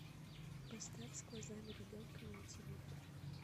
поставь с глазами ребенка найтивыход